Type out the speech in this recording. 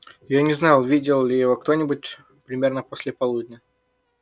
я не знал видел ли его кто-нибудь примерно после полудня